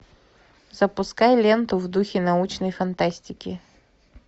запускай ленту в духе научной фантастики